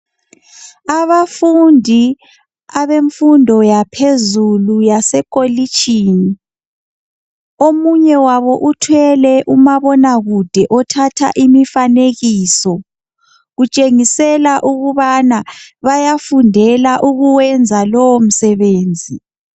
Abafundi abemfundo yaphezulu yaseKolitshini. Omunye wabo uthwele umabonakude othatha imifanekiso. Kutshengisela ukubana bayafundela ukuwenza lowo msebenzi.